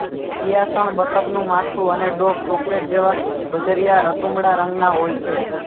પિયાસણ બતકનું માથું અને ડોક ચોકલેટ જેવા બજરીયા રતુમડાં રંગનાં હોય છે